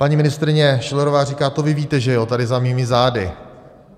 Paní ministryně Schillerová říká: To vy víte, že jo, tady za mými zády.